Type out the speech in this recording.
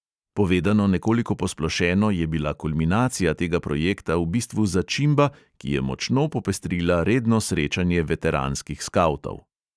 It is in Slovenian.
Povedano nekoliko posplošeno je bila kulminacija tega projekta v bistvu začimba, ki je močno popestrila redno srečanje veteranskih skavtov.